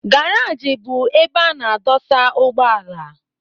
Garaj bụ ebe a na-adụsa ugbọala.